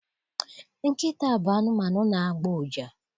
Nkịta bụ anụmanụ na-agbọ ụja.